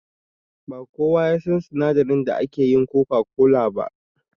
Ba kowa ya san sinadarin da ake yin coca-cola ba.